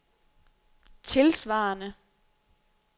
tilsvarende